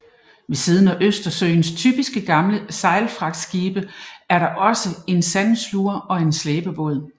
Ved siden af Østersøens typiske gamle sejlfragtskibe er der også en sandsuger og en slæbebåd